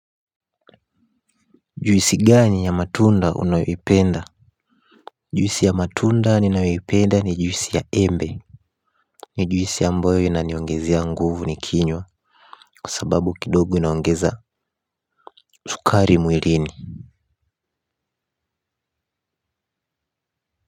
Juisi gani ya matunda unayoipenda. Juisi ya matunda ninayoipenda ni juisi ya embe. Ni juisi ambayo inaniongezea nguvu nikinywa kwa sababu kidogo inaongeza sukari mwilini.